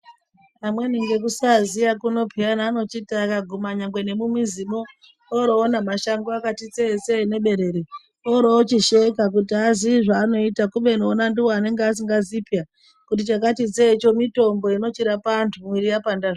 Amweni ngekusaziya kuno pheyana anochiti akaguma nyangwe nemumizimwo oro ona mashango akati tsee tsee neberere, oroochisheka kuti azii zvaanoita kubeni ona anenge asingazii pheya kuti chakati tsee choo mutombo inochirapa anthu mwiri yapanda zvii...